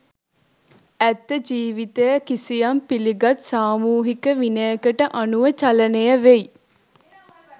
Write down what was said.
ඇත්ත ජීවිතය කිසියම් පිළිගත් සාමූහික විනයකට අනුව චලනය වෙයි.